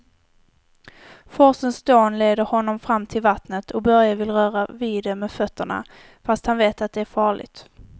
Forsens dån leder honom fram till vattnet och Börje vill röra vid det med fötterna, fast han vet att det är farligt.